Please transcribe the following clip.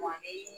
Wa ne ye